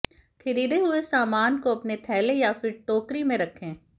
खरीदे हुए सामान को अपने थैले या फिर टोकरी में रखें